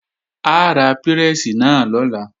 A ra pírẹ́sì náà lọ́la